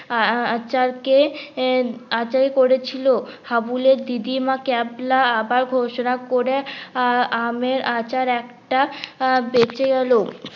আঁচার কে আঁচার করেছিল হাবুল এর দিদি মা ক্যাবলা আবার ঘোষণা করে আমের আঁচার একটা বেঁচে গেলো